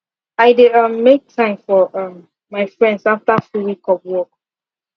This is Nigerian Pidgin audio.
i dey um make time for um my friends after full week of work